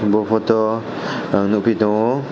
bo photo o ang nogpi tango.